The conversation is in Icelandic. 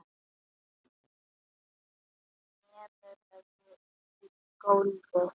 Lemur höfðinu í gólfið.